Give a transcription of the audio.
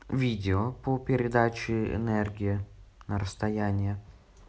видео по передаче энергии на расстояние